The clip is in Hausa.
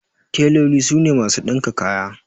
Teloli su ne masu ɗinka kaya.